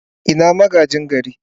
Ina magaji gari?